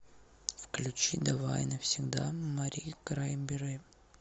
включи давай навсегда мари краймбери